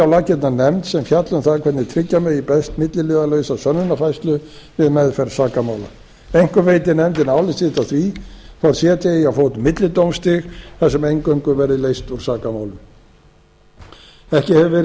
laggirnar nefnd sem fjalli um það hvernig tryggja megi best milliliðalausa sönnunarfærslu við meðferð sakamála einkum veiti nefndin álit sitt á því hvort setja eigi á fót millidómstig þar sem eingöngu verði leyst úr sakamálum ekki hefur verið